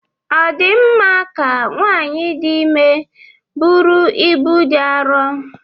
Ọ dị mma ka nwanyị dị ime buru ibu dị arọ?